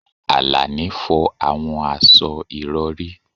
Alani fọ àwọn aṣọ ìrọ̀rí